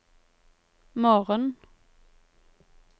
morgen